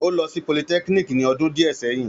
Ó lọ sí polytechnic ní ọdún díẹ̀ sẹ́yìn